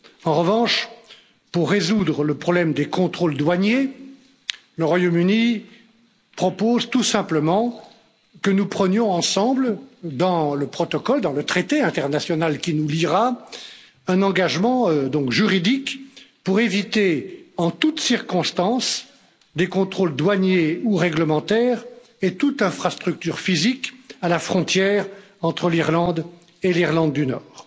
En revanche, pour résoudre le problème des contrôles douaniers, le Royaume Uni propose tout simplement que nous prenions ensemble, dans le traité international qui nous liera, un engagement juridique pour éviter, en toute circonstance, des contrôles douaniers ou réglementaires et toute infrastructure physique à la frontière entre l'Irlande et l'Irlande du Nord.